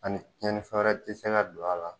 Ani cɛnifɛn wɛrɛ ti se ka don a la